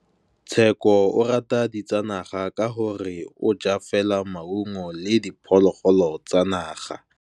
Tshekô o rata ditsanaga ka gore o ja fela maungo le diphologolo tsa naga.